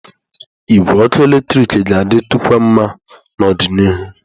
Igwe ọkụ eletrik ga-adị tụkwa nma n'ọdịnihu.